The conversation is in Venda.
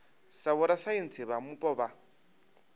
sa vhorasaintsi vha mupo vha